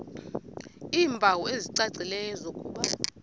iimpawu ezicacileyo zokuba